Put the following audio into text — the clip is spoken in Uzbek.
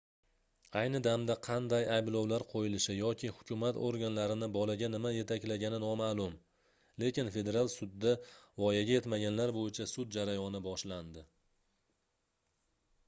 ayni damda qanday ayblovlar qoʻyilishi yoki hukumat organlarini bolaga nima yetaklagani nomaʼlum lekin federal sudda voyaga yetmaganlar boʻyicha sud jarayoni boshlandi